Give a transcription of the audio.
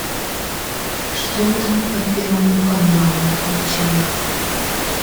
что там по первому каналу включай